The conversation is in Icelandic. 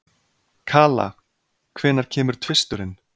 Kala, hvenær kemur tvisturinn?